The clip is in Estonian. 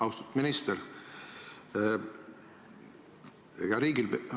Austatud minister!